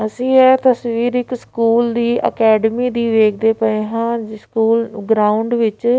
ਅਸੀਂ ਇਹ ਤਸਵੀਰ ਇੱਕ ਸਕੂਲ ਦੀ ਅਕੈਡਮੀ ਦੀ ਵੇਖਦੇ ਪਏ ਹਾਂ ਸਕੂਲ ਗਰਾਊਂਡ ਵਿੱਚ --